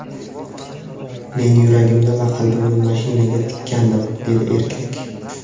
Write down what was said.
Men yuragimni va qalbimni mashinaga tikkandim”, dedi erkak.